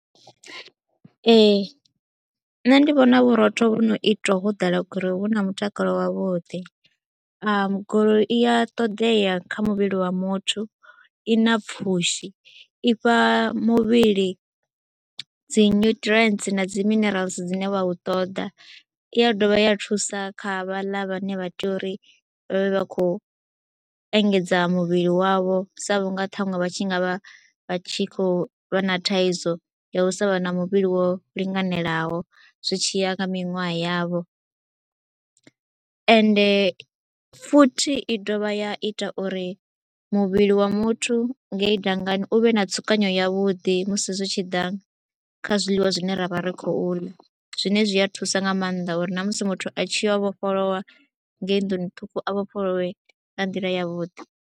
Ee nṋe ndi vhona vhurotho vhu no itwa ho ḓala gurowu hu na mutakalo wavhuḓi, gurowi i ya ṱoḓea kha muvhili wa muthu, i na pfhushi, i fha muvhili dzi nuṱirientsi na dzi minerala dzine vha u ṱoḓa, i ya dovha ya thusa kha vhaḽa vhane vha tea uri vha vhe vha khou engedza muvhili wavho sa vhunga ṱhaṅwe vha tshi nga vha vha tshi khou vha na thaidzo ya u sa vha na muvhili wo linganelaho, zwi tshi ya kha miṅwaha yavho. Ende futhi i dovha ya ita uri muvhili wa muthu ngei dangani u vhe na tsukanyo yavhuḓi musi zwi tshi ḓa kha zwiḽiwa zwine ra vha ri khou ḽa, zwine zwi a thusa nga maanḓa uri na musi muthu a tshi yo vhofholowa ngei nḓuni ṱhukhu a vhofholowe nga nḓila yavhuḓi.